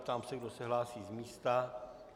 Ptám se, kdo se hlásí z místa.